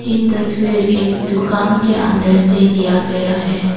ये तस्वीर एक दुकान के अंदर से लिया गया है।